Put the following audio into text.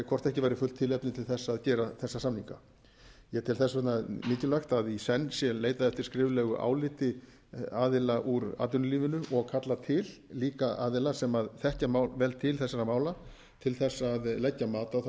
hvort ekki væri fullt tilefni til þess að gera þessa samninga ég tel þess vegna mikilvægt að í senn sé leitað eftir skriflegu áliti aðila úr atvinnulífinu og kallað til líka aðila sem þekkja vel til þessara mála til þess að leggja mat á það